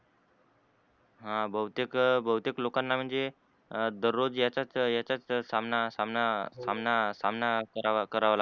ह बहुतेक बहुतेक लोकांना म्हणजे दररोज याचाच याचाच सामना सामना सामना सामना करावा लागते.